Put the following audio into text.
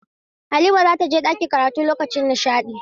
Halima za ta je ɗakin karatu lokacin nishaɗi.